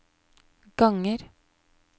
ganger